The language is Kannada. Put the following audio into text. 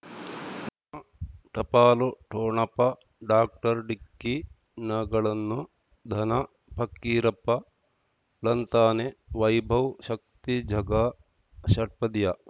ಟಪಾಲು ಠೊಣಪ ಡಾಕ್ಟರ್ ಢಿಕ್ಕಿ ಣಗಳನು ಧನ ಫಕೀರಪ್ಪ ಳಂತಾನೆ ವೈಭವ್ ಶಕ್ತಿ ಝಗಾ ಷಟ್ಪದಿಯ